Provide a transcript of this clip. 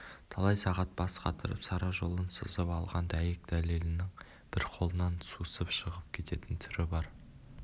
талай сағат бас қатырып сара жолын сызып алған дәйек-дәлелінің бір қолынан сусып шығып кететін түрі бар